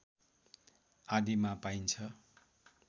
आदिमा पाइन्छ